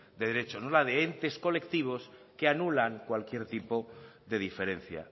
de derechos no la de entes colectivos que anulan cualquier tipo de diferencia